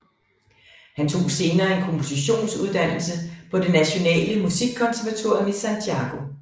Han tog senere en kompositions uddannelse på det Nationale Musikkonservatorium i Santiago